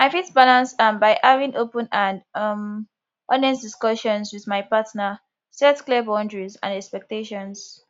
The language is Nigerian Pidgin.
i fit balance am by having open and um honest discussions with my partner set clear boundaries and expectations